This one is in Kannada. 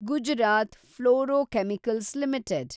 Gujarat Fluorochemicals limited